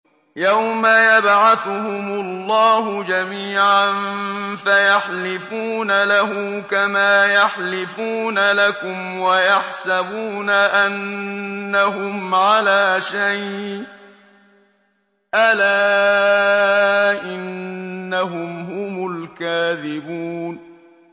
يَوْمَ يَبْعَثُهُمُ اللَّهُ جَمِيعًا فَيَحْلِفُونَ لَهُ كَمَا يَحْلِفُونَ لَكُمْ ۖ وَيَحْسَبُونَ أَنَّهُمْ عَلَىٰ شَيْءٍ ۚ أَلَا إِنَّهُمْ هُمُ الْكَاذِبُونَ